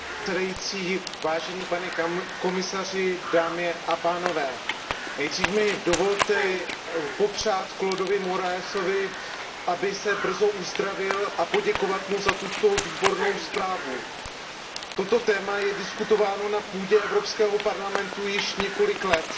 Paní předsedající, pane komisaři, nejdřív mi dovolte popřát Claudovi Moraesovi, aby se brzo uzdravil, a poděkovat mu za tuto výbornou zprávu. Toto téma je diskutováno na půdě Evropského parlamentu již několik let.